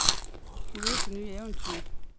Hun vil ud på nye eventyr.